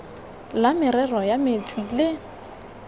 la merero ya metsi le